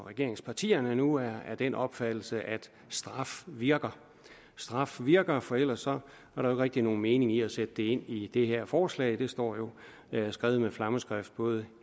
regeringspartierne nu er af den opfattelse at straf virker straf virker for ellers var der rigtig nogen mening i at sætte det ind i det her forslag det står jo skrevet med flammeskrift både